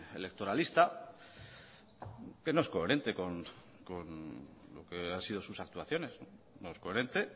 electoralista que no es coherente con lo que han sido sus actuaciones no es coherente